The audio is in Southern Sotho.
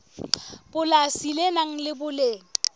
polasi le nang le boleng